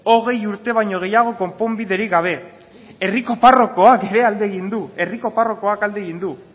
hogei urte baino gehiago konponbiderik gabe herriko parrokoak ere alde egin du herriko parrokoak alde egin du